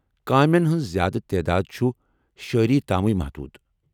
کامین ہنٛز زیادٕ تعداد چُھ شٲعری تامٕے محدوٗد ۔